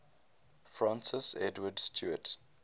francis edward stuart